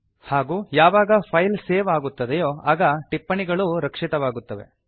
ಹಾಗೂ ಯಾವಾಗ file save ಆಗುತ್ತದೋ ಆಗ ಟಿಪ್ಪಣಿಗಳೂ ರಕ್ಷಿತವಾಗುತ್ತವೆ